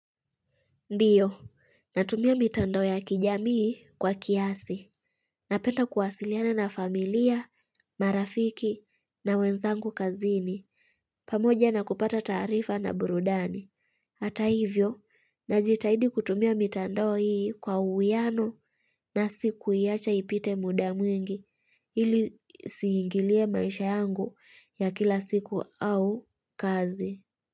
Ndiyo, natumia mitando ya kijamii kwa kiasi. Napenda kuwasiliana na familia, marafiki na wenzangu kazini. Pamoja na kupata tarifa na burudani. Hata hivyo, najitahidi kutumia mitando hii kwa uwiano na sikuiacha ipite muda mwingi. Ili isiingilie maisha yangu ya kila siku au kazi.